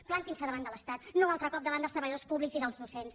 plantin se davant de l’estat no altre cop davant dels treballadors públics i dels docents